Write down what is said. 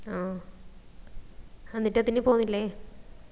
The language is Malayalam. ആ എന്നിട്ടതിന് പൊന്നില്ലേ